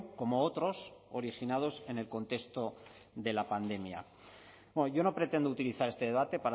como otros originados en el contexto de la pandemia bueno yo no pretendo utilizar este debate